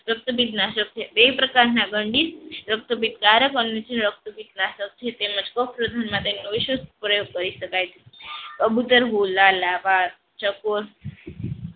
રક્તપિત નાશક છે એ પ્રકારના ગંડિત રક્તપિતકારક અને રક્તપિત નાશક છે. પ્રયોગ કરી શકાય છે